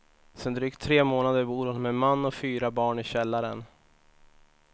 Sedan drygt tre månader bor hon med man och fyra barn i källaren.